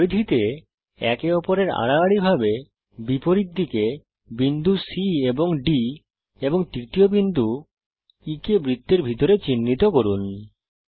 পরিধিতে একে অপরের আড়াআড়িভাবে বিপরীত দিকে বিন্দু C এবং D এবং তৃতীয় বিন্দু E কে বৃত্তের ভিতরে চিহ্নিত করুন